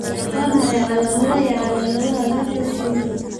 Waa maxay calaamadaha iyo calaamadaha Revesz syndrome?